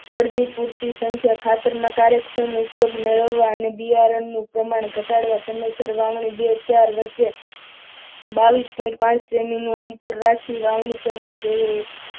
છોડની પૂર્તિ સંખ્યા ખાતરના કાર્યક્ષમ ઉપયોગ મેળવવા અને બિયારણ નું પ્રમાણ ઘટાડવા સમયસર વાવણી બે ચાર વચ્ચે બાવીસ point પાચ સેમીનું અંતર રાખી વાવણી કરવી જોઈએ.